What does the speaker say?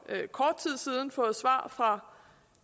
kort tid siden fået et svar fra